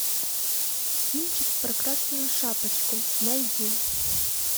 кинчик про красную шапочку найди